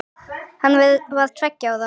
Hann var tveggja ára.